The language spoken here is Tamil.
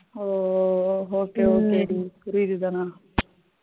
oh oh okay okay டி புரியுது தனா